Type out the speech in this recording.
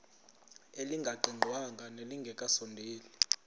elingaqingqwanga nelinge kasondeli